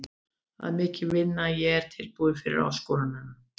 Það er mikil vinna en ég er tilbúinn fyrir áskorunina.